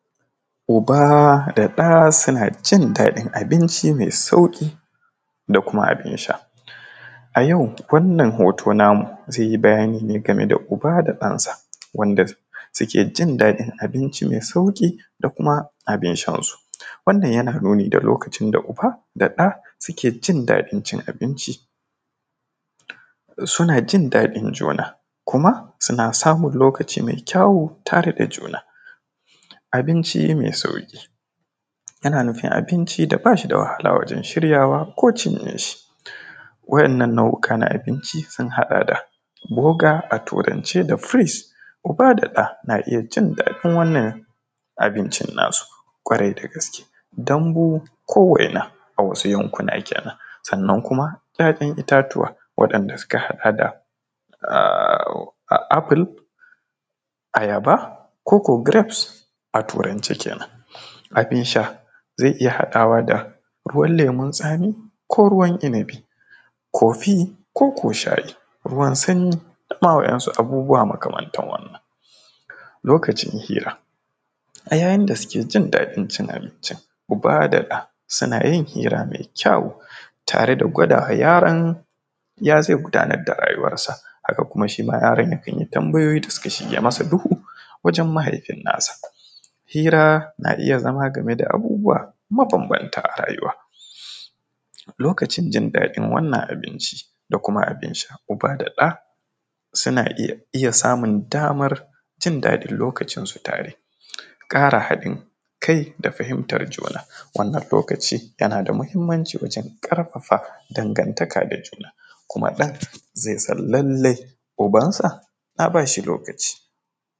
Uba da ɗa suna jin daɗin abinci mai sauƙi da kuma abin sha, a yau wannan rubutu namu zai yi bayani ne game da uba da ɗansa wanda suke jin daɗin abinci mai sauƙi da kuma abin shan su, wannan yana nuni da lokacin da uba da ɗa suke jin daɗin cin abinci suna jin daɗin juna kuma suna samun lokacin mai kyawu tare da juna, abinci mai sauƙi yana nufin abinci da bashi da wahala wajen shiryawa ko cinye shi, waɗannan nau’ika na abinci sun haɗa da burger a turance da freez uba da ɗa na iya jin daɗin wannan abincin nasu kwarai da gaske dambu ko waina a wasu yankuna kenan, sannan kuma ‘ya’yan itatuwa waɗanɗa suka haɗa da apple ayaba koko grapes a turance kenan, abin sha zai iya haɗa wa da ruwan lemun tsamin ko ruwan inibi kofi ko shayi ruwan sanyi dama waɗansu abubuwa makamantan wannan, lokacin hira a yayin da suke jin daɗin cin abincin uba da ɗa suna yin hira mai kyawu tare da gwada wa yaron ya zai gudanar da rayuwansa haka kuma shima yaron yakan yi tambayoyi da suka shige masa duhu wajen mahaifinsa, hira na iya zama game da abubuwa mabanbanta a rayuwa lokacin jin daɗi wannan abinci da kuma abin sha uba da ɗa suna iya samun damar jin daɗin lokacin su tare domin ƙara hadin kai da fahimtar juna, wannan lokaci na da muhimmanci ƙarfafa dangantaka da juna kuma ɗan zai san cewa ubansa na bashi lokaci.